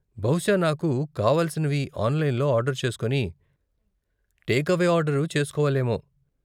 బహుశా నాకు కావలసినవి ఆన్లైన్లో ఆర్డరు చేస్కొని, టేక్ అవే ఆర్డరు చేస్కోవాలేమో.